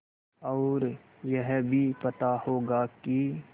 और यह भी पता होगा कि